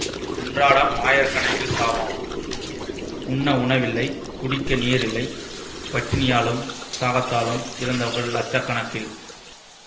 அன்றாடம் ஆயிர கணக்கில் சாவாம் உண்ண உண வில்லை குடிக்க நீரில்லை பட்டினியாலும் தாகத்தாலும் இறந்தவர் இலட்ச கணக்கில்